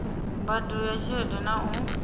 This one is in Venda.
mbadelo ya tshelede na u